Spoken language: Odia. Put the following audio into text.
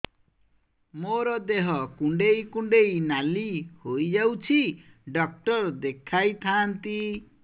ମୋର ଦେହ କୁଣ୍ଡେଇ କୁଣ୍ଡେଇ ନାଲି ହୋଇଯାଉଛି ଡକ୍ଟର ଦେଖାଇ ଥାଆନ୍ତି